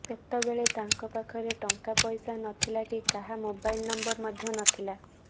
ସେତେବେଳେ ତାଙ୍କ ପାଖରେ ଟଙ୍କାପଇସା ନଥିଲା କି କାହା ମୋବାଇଲ୍ ନମ୍ବର ମଧ୍ୟ ନଥିଲା